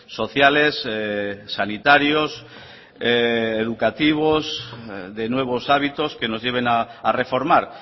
sociales sanitarios educativos de nuevos hábitos que nos lleven a reformar